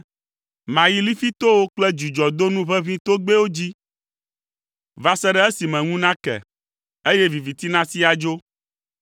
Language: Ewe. Mayi lifitowo kple dzudzɔdonu ʋeʋĩ togbɛwo dzi va se ɖe esime ŋu nake, eye viviti nasi adzo.